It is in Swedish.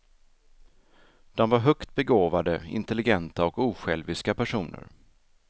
De var högt begåvade, intelligenta och osjälviska personer.